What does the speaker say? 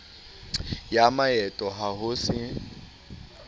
ya maeto ha ho se